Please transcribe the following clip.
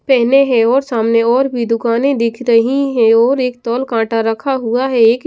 पहने है और सामने और भी दुकानें दिख रही हैं और एक तौल काँटा रखा हुआ है एक --